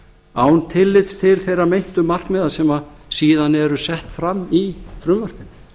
án tillits til þeirra meintu markmiða sem síðan eru sett fram í frumvarpinu